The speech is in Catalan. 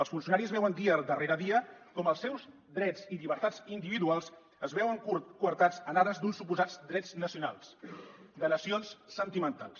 els funcionaris veuen dia darrere dia com els seus drets i llibertats individuals es veuen coartats en ares d’uns suposats drets nacionals de nacions sentimentals